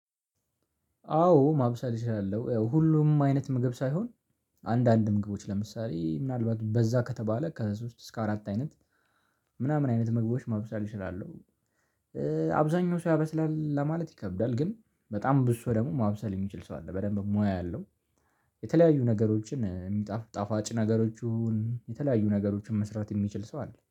አዎ ማብሰል እችላለሁ። ያው ሁሉም አይነት ምግብ ሳይሆን አንዳንድ ምግቦች ለምሳሌ ምናልባት በዛ ከተባለ ከሶስት እስከ አራት አይነት ምናምን አይነት ምግቦች ማብሰል እችላለሁ። አብዛኛው ሰው ያበስላል ለማለት ይከብዳል ግን በጣም ብዙ ሰው ደግሞ ማብሰል የሚችል ሰው አለ በደንብ ሙያ ያለው። የተለያዩ ነገሮችን እሚጣፍ ጣፋጭ ነገሮቹን የተለያዩ ነገሮችን መስራት የሚችል ሰው አለ።